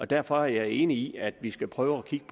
derfor er jeg enig i at vi skal prøve at kigge